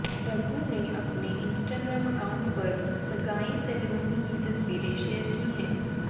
रघु ने अपने Instagram account पर सगाई सेरेमनी की तस्वीरें शेयर की हैं